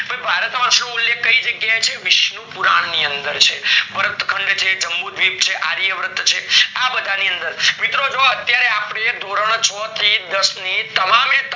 ભય ભારત વર્ષ તો ઉલ્લેખ કય જગ્યા એ છે વિષ્ણુ પુરણ ની અંદર છે ભારત ખંડ છે જંબુ દ્વીપ છે આર્ય વ્રત છે આ બધાની અંદર મિત્રો જો અત્યારે ધોરણ છ થી દસ ની તમામ એ